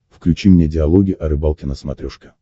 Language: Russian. включи мне диалоги о рыбалке на смотрешке